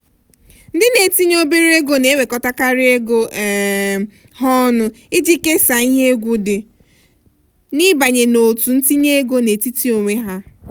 ndị na-etinye obere ego na-ewekọtakarị ego um ha ọnụ iji kesaa ihe egwu dị n'ịbanye n'òtù itinye ego n'etiti onwe ha.